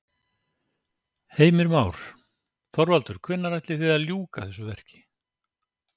Heimir Már: Þorvaldur hvenær áætlið þið að ljúka þessu verki?